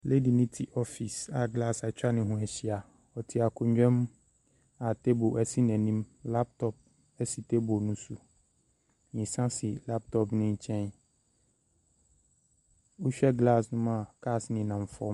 Lady no te office a glass atwa ne ho ahyia. Ɔte akonnwa mu a table si n'anim. Laptop si table no so. Nsa si laptop no nkyɛn. Wohwɛ glass no mu a, cars nenam fam.